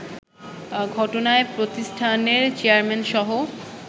ঘটনায় প্রতিষ্ঠানের চেয়ারম্যানসহ